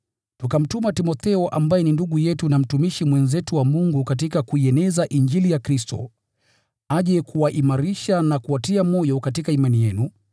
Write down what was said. Tukamtuma Timotheo ambaye ni ndugu yetu na mtumishi mwenzetu wa Mungu katika kuieneza Injili ya Kristo, aje kuwaimarisha na kuwatia moyo katika imani yenu,